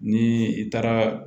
Ni i taara